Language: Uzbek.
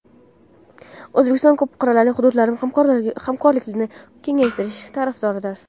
O‘zbekiston ko‘p qirrali hududiy hamkorlikni kengaytirish tarafdoridir.